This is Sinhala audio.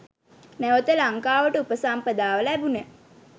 නැවත ලංකාවට උපසම්පදාව ලැබුණ